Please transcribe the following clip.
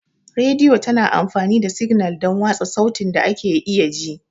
Rediyo tana amfani da signal don watsa sautin da ake iya ji.